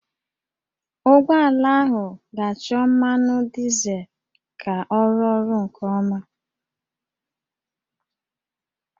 Ụgbọala ahụ ga-achọ mmanụ dizel ka ọ rụọ ọrụ nke ọma